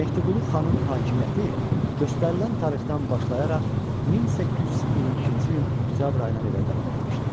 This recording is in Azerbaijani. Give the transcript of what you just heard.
Mehdiqulu xanın hakimiyyəti göstərilən tarixdən başlayaraq 1822-ci ilin oktyabr ayına qədər davam etmişdi.